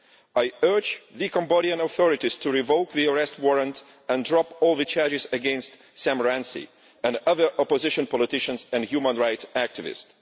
I urge the Cambodian authorities to revoke the arrest warrant and drop all the charges against Sam Rainsy and other opposition politicians and human rights activists.